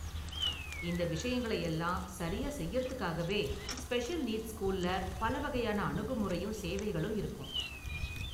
இந்த விஷயங்களை எல்லாம் சரியா செய்யுறதுக்காகவே ஸ்பெஷல் நீட்ஸ் ஸ்கூல்ல பல வகையான அணுகுமுறையும் சேவைகளும் இருக்கும்.